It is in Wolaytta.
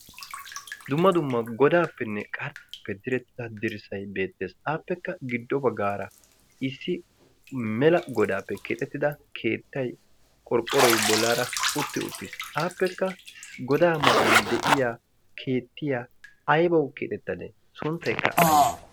Dumma dumma godaappenne qarxxaappe direttida dirssai beettees aappekka giddo baggaara issi mela godaappe keexettida keettay qorphphoroy bollaara utti uttiis aappekka godaa matan de'iya keettiya aybawu keexettadee suntteekka aybe?